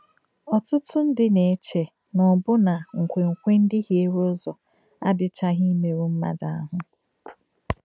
Ọ̀tútú ndí nà-èchè nà ọ̀bùnà ǹkwèǹkwè ndí hìèrē ùzọ̀ àdị́chàghì ìmérū m̀madù àhù.